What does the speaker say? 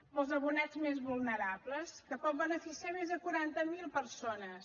per als abonats més vulnerables que pot beneficiar més de quaranta mil persones